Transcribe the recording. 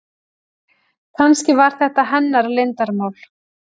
Kannski var þetta hennar leyndarmál.